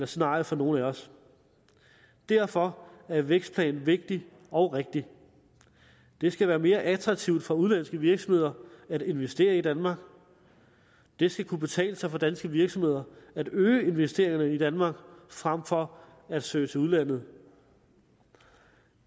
scenarie for nogen af os derfor er vækstplanen vigtig og rigtig det skal være mere attraktivt for udenlandske virksomheder at investere i danmark det skal kunne betale sig for danske virksomheder at øge investeringerne i danmark frem for at søge til udlandet